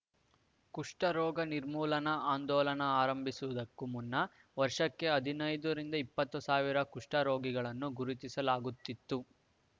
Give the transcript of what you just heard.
ಕುಷ್ಟರೋಗ ನಿರ್ಮೂಲನಾ ಆಂದೋಲನ ಆರಂಭಿಸುವುದಕ್ಕೂ ಮುನ್ನ ವರ್ಷಕ್ಕೆ ಹದಿನೈದುರಿಂದ ಇಪ್ಪತ್ತು ಸಾವಿರ ಕುಷ್ಟರೋಗಿಗಳನ್ನು ಗುರುತಿಸಲಾಗುತ್ತಿತ್ತು